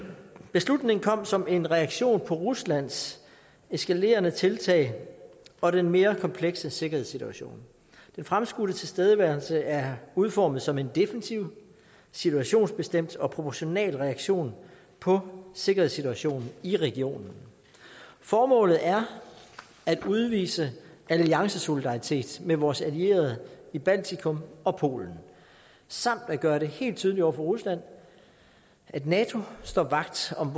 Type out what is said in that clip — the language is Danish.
beslutningen kom som en reaktion på ruslands eskalerende tiltag og den mere komplekse sikkerhedssituation den fremskudte tilstedeværelse er udformet som en defensiv situationsbestemt og proportional reaktion på sikkerhedssituationen i regionen formålet er at udvise alliancesolidaritet med vores allierede i baltikum og polen samt at gøre det helt tydeligt over for rusland at nato står vagt om